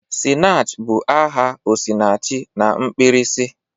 "Sinach ' bụ aha 'Osinachi' na mkpirisi.